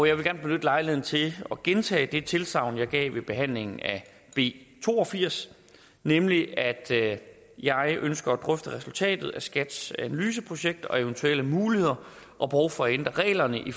jeg vil gerne benytte lejligheden til at gentage det tilsagn jeg gav ved behandlingen af b to og firs nemlig at jeg ønsker at drøfte resultatet af skats analyseprojekt og eventuelle muligheder og behov for at ændre reglerne i